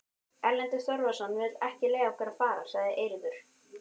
Erlendur Þorvarðarson vill ekki leyfa okkur að fara, sagði Eiríkur.